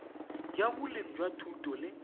ya boleng jwa thuto le